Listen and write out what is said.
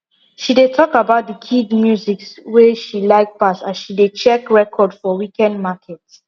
she dey talk about the kid musics wey she like pass as she dey check record for weekend market